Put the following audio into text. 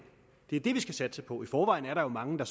det er det vi skal satse på i forvejen er der jo mange der